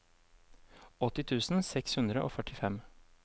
åtti tusen seks hundre og førtifem